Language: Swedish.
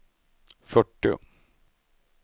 fyrtio